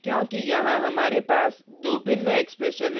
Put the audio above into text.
यह इसलिए क्योंकि यहाँ हमारे पास दो भिन्न expression हैं